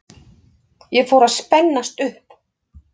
Ég fór að spennast upp.